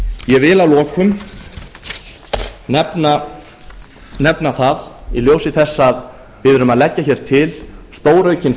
ég vil að lokum nefna það í ljósi þess að við erum að leggja hér til stóraukin